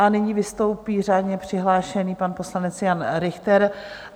A nyní vystoupí řádně přihlášený pan poslanec Jan Richter.